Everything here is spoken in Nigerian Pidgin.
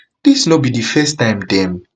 dis no be di first time dem